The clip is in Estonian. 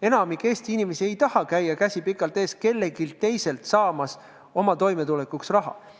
Enamik Eesti inimesi ei taha käia, käsi pikalt ees, kelleltki teiselt toimetulekuks raha küsimas.